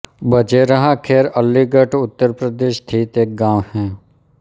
बझेरहा खैर अलीगढ़ उत्तर प्रदेश स्थित एक गाँव है